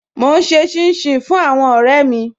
Mo n ṣè chìn-chìn fún àwọn ọ̀rẹ̀ mi